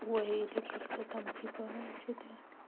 ой или как-то там типа что-то